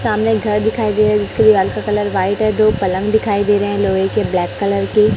सामने घर दिखाई दे रहा है जिसके दीवाल का कलर व्हाइट है। पलंग दिखाई दे रहा है। लोहे के ब्लैक कलर के --